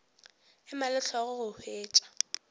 ema le hlogo go hwetša